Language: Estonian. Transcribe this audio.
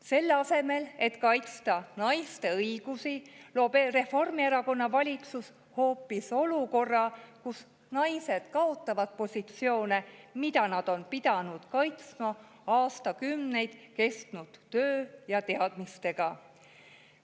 Selle asemel, et kaitsta naiste õigusi, loob Reformierakonna valitsus hoopis olukorra, kus naised kaotavad positsioone, mida nad on pidanud kaitsma aastakümneid kestnud töö ja teadmistega.